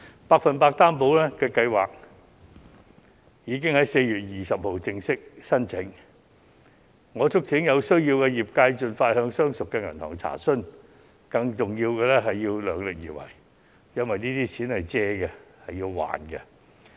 "百分百擔保"計劃已在4月20日正式接受申請，我促請有需要的公司盡快向相熟銀行查詢，更重要的是要量力而為，因為這些錢是借貸得來，需要償還。